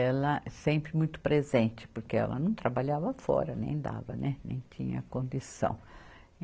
ela sempre muito presente, porque ela não trabalhava fora, nem dava, né, nem tinha condição.